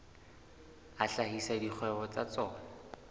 a hlahisa dikgwebo tsa tsona